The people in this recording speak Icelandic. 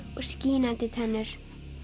og skínandi tennur